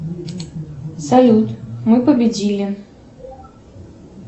салют мы победили